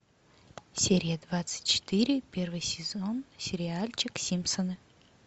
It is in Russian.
серия двадцать четыре первый сезон сериальчик симпсоны